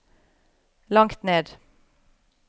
langt ned